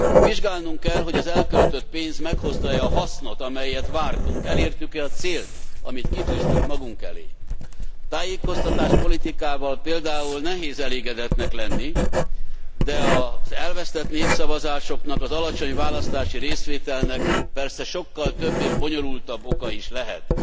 Vizsgálnunk kell, hogy az elköltött pénz meghozta e a hasznot, amelyet vártunk, elértük e a célt, amit kitűztünk magunk elé. A tájékoztatáspolitikával például nehéz elégedettnek lenni, de az elvesztett népszavazásoknak, az alacsony választási részvételnek persze sokkal több és bonyolultabb oka is lehet.